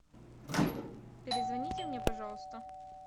перезвоните мне пожалуйста